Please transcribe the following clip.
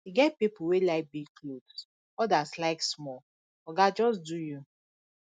e get pipo wey like big clothes odas like small oga just do you